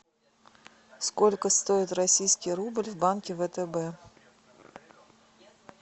сколько стоит российский рубль в банке втб